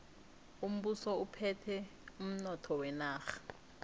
umbuso uphethe umnotho wenarha